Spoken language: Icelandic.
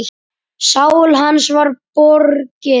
Sál hans var borgið.